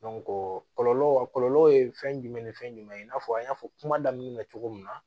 kɔlɔlɔ a kɔlɔlɔ ye fɛn jumɛn ni fɛn jumɛn ye i n'a fɔ an y'a fɔ kuma daminɛ na cogo min na